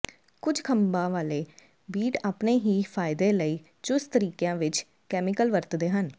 ਕੁਝ ਖੰਭਾਂ ਵਾਲੇ ਬੀਟ ਆਪਣੇ ਹੀ ਫਾਇਦੇ ਲਈ ਚੁਸਤ ਤਰੀਕਿਆਂ ਵਿਚ ਕੈਮੀਕਲ ਵਰਤਦੇ ਹਨ